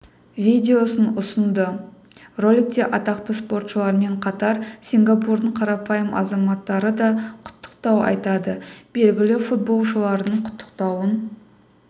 видеосын ұсынды роликте атақты спортшылармен қатар сингапурдың қарапайым азаматтары да құттықтау айтады белгілі футболшылардың құттықтауын